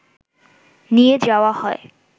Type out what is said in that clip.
নিয়ে যাওয়া হয়